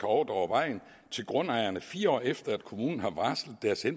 overdrage vejen til grundejerne fire år efter at kommunen har varslet